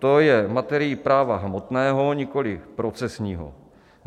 To je materií práva hmotného, nikoliv procesního.